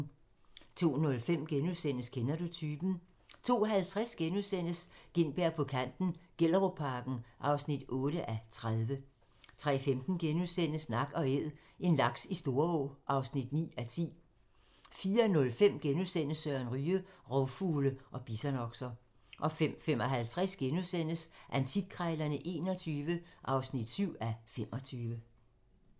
02:05: Kender du typen? * 02:50: Gintberg på kanten - Gellerupparken (8:30)* 03:15: Nak & æd - en laks i Storå (9:10)* 04:05: Søren Ryge: Rovfugle og bisonokser * 05:55: Antikkrejlerne XXI (7:25)*